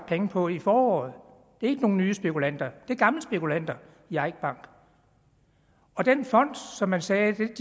penge på i foråret det er ikke nye spekulanter det er gamle spekulanter i eik bank og den fond som man sagde